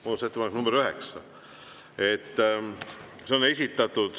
Muudatusettepanek nr 9.